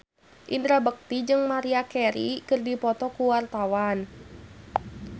Indra Bekti jeung Maria Carey keur dipoto ku wartawan